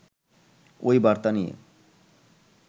ওই বার্তা নিয়ে